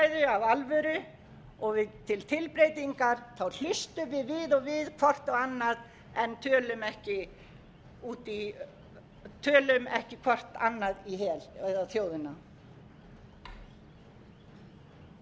að við tökum þá umræðu af alvöru og við til tilbreytingar hlustum við og við hvert á annað en tölum ekki hvert annað í hel eða þjóðina við höfum verkefni